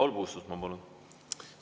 Paul Puustusmaa, palun!